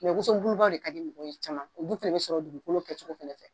woso bulubaw de ka di mɔgɔ ye caman o dun fana bɛ sɔrɔ dugukolo kɛcogo fana fɛ.